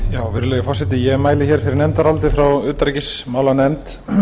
virðulegi forseti ég mæli hér fyrir nefndaráliti frá utanríkismálanefnd